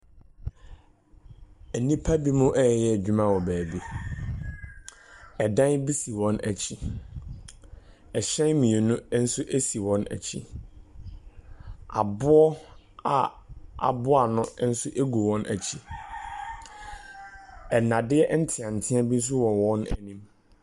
Nnipa binom reyɛ adwuma wɔ baabi. Dan bi si wɔn akyi. Ahyɛn mmienu nso si wɔn akyi. Aboɔ a aboa ano nso gu wɔn akyi. Nnadeɛ nteantea bi nso wɔ wɔn anim.